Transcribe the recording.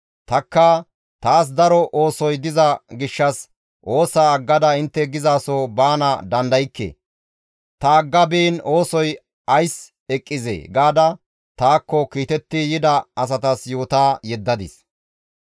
Tanikka, «Taas daro oosoy diza gishshas oosaa aggada intte gizaso baana dandaykke; ta agga biin oosoy ays eqqizee?» gaada taakko kiitetti yida asatas yoota yeddadis.